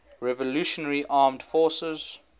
revolutionary armed forces